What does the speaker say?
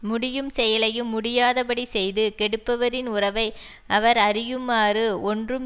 முடியும் செயலையும் முடியாத படி செய்து கெடுப்பவரின் உறவை அவர் அறியுமாறு ஒன்றும்